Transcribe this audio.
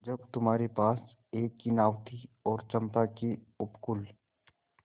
जब तुम्हारे पास एक ही नाव थी और चंपा के उपकूल